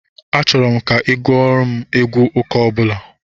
Achọrọ m ka ị gụọrọ m egwu ụka ọbụla